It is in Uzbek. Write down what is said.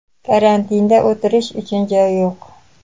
Karantinda o‘tirish uchun joy yo‘q.